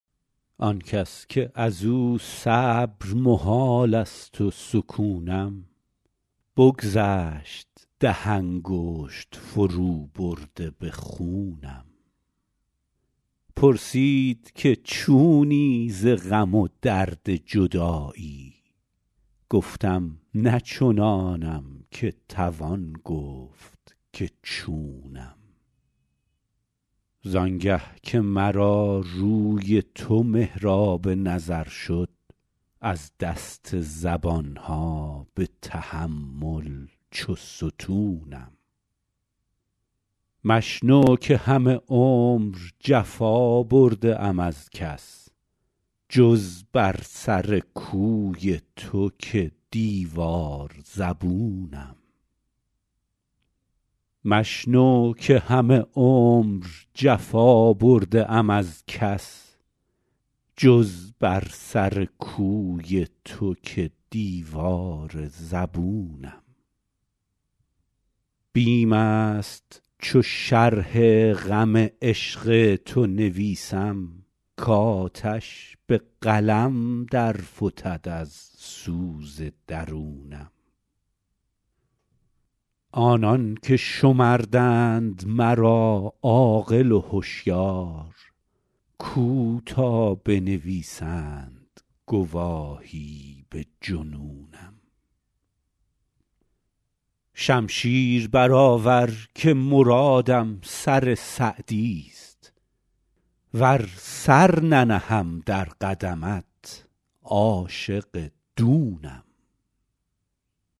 آن کس که از او صبر محال است و سکونم بگذشت ده انگشت فروبرده به خونم پرسید که چونی ز غم و درد جدایی گفتم نه چنانم که توان گفت که چونم زان گه که مرا روی تو محراب نظر شد از دست زبان ها به تحمل چو ستونم مشنو که همه عمر جفا برده ام از کس جز بر سر کوی تو که دیوار زبونم بیم است چو شرح غم عشق تو نویسم کآتش به قلم در فتد از سوز درونم آنان که شمردند مرا عاقل و هشیار کو تا بنویسند گواهی به جنونم شمشیر برآور که مرادم سر سعدیست ور سر ننهم در قدمت عاشق دونم